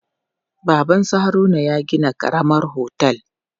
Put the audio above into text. Baban su Haruna ya gina karamar otel.